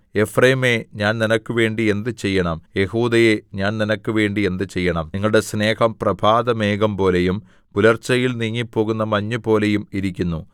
എഫ്രയീമേ ഞാൻ നിനക്കുവേണ്ടി എന്ത് ചെയ്യണം യെഹൂദയേ ഞാൻ നിനക്കുവേണ്ടി എന്ത് ചെയ്യണം നിങ്ങളുടെ സ്നേഹം പ്രഭാതമേഘംപോലെയും പുലർച്ചയിൽ നീങ്ങിപ്പോകുന്ന മഞ്ഞുപോലെയും ഇരിക്കുന്നു